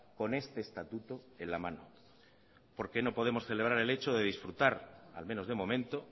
con este estatuto en la mano por qué no podemos celebrar el hecho de disfrutar al menos de momento